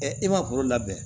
e ma foro labɛn